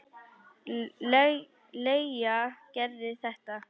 Leigja Gerði þetta.